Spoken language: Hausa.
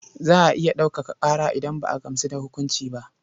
Za a iya ɗaukaka ƙara idan ba a gamsu da hukunci ba.